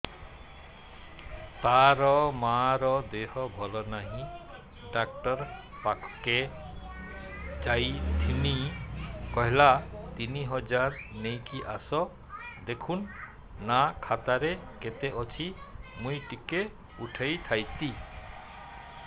ତାର ମାର ଦେହେ ଭଲ ନାଇଁ ଡାକ୍ତର ପଖକେ ଯାଈଥିନି କହିଲା ତିନ ହଜାର ନେଇକି ଆସ ଦେଖୁନ ନା ଖାତାରେ କେତେ ଅଛି ମୁଇଁ ଟିକେ ଉଠେଇ ଥାଇତି